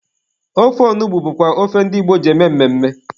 Ofe onugbu bụkwa ofe ndi Igbo ji eme mmemme.